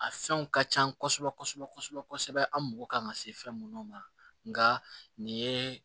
A fɛnw ka can kosɛbɛ kosɛbɛ kosɛbɛ an mago kan ka se fɛn munnu ma nga nin ye